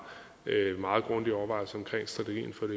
meget grundige overvejelser omkring strategien for